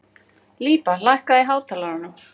Líba, lækkaðu í hátalaranum.